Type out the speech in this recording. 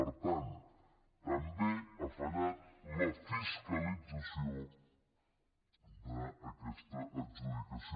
per tant també ha fallat la fiscalització d’aquesta adjudicació